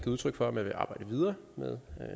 udtryk for at man vil arbejde videre med